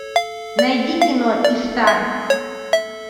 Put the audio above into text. найди кино иштар